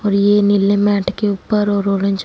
और ये नीले मैट के ऊपर और ऑरेंज --